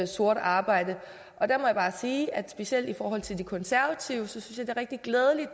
sort arbejde og der må jeg bare sige at specielt i forhold til de konservative synes jeg det er rigtig glædeligt